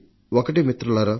ఒక్కటి మిత్రులారా